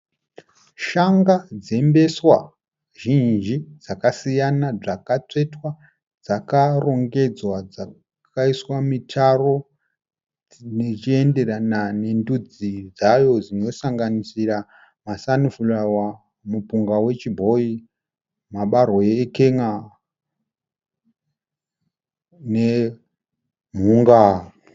Shanga dzembeswa zvinji dzakasiyana, dzakatsvetwa dzakarongedzwa, dzakaiswa mitaro zvichienderana nendudzi dzayo, dzosanganisira masanifurawa, mupunga wechibhoyi, mabarwe ekenya nemhunga.